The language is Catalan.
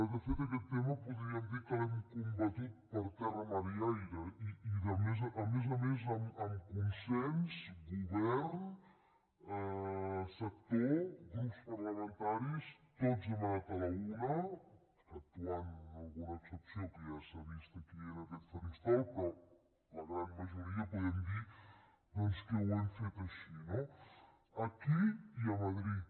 de fet aquest tema podríem dir que l’hem combatut per terra mar i aire i a més a més amb consens govern sector grups parlamentaris tots hem anat a la una exceptuant alguna excepció que ja s’ha vist aquí en aquest faristol però la gran majoria podem dir que ho hem fet així no aquí i a madrid